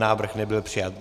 Návrh nebyl přijat.